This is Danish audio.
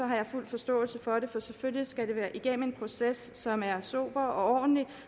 har jeg fuld forståelse for det for selvfølgelig skal det igennem en proces som er sober og ordentlig